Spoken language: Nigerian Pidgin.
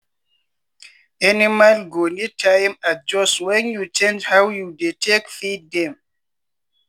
animal go need time adjust when you change how you dey take feed dem.